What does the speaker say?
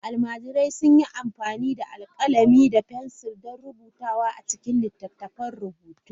Almajirai sun yi amfani da alƙalami da fensir don rubutawa a cikin littattafan rubutu.